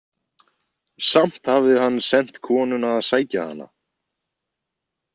Samt hafði hann sent konuna að sækja hana?